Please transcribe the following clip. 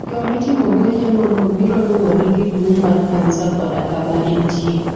Yo mitimogo yeng'ono biro luwore gi duong' mar kansa koda kama entie.